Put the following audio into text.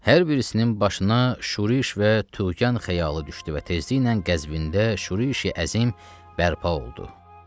Hər birisinin başına şuriş və tuğyan xəyalı düşdü və tezliklə qəzbində şurişi əzim bərpa oldu.